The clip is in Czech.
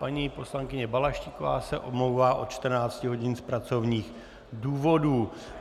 Paní poslankyně Balaštíková se omlouvá od 14 hodin z pracovních důvodů.